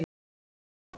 Einn ofn.